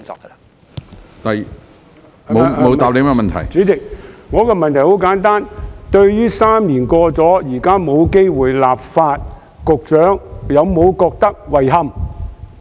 主席，我的補充質詢很簡單，對於3年過去，現在沒有機會立法，局長有否感到遺憾？